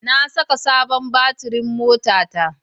Na saka sabon batirin motata.